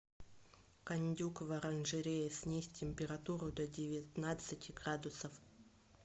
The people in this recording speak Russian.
кондюк в оранжерее снизь температуру до девятнадцати градусов